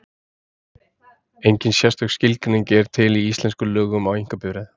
Engin sérstök skilgreining er til í íslenskum lögum á einkabifreið.